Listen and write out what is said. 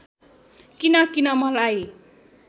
किन किन मलाई